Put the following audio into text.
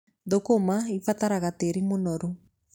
Thũkũma ibataraga tĩĩri mũnoru.